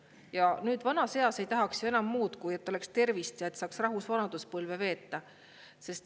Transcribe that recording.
Ja nüüd vanas eas ei tahaks ju enam muud, kui et oleks tervist ja saaks rahus vanaduspõlve veeta.